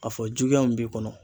A fɔ juguya min b'i kɔnɔ.